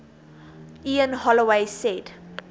ian holloway said